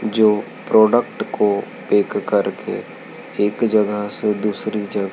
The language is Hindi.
जो प्रोडक्ट को देख कर के एक जगह से दूसरी जग--